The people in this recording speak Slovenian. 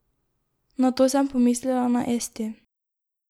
Nato sem pomislila na Esti.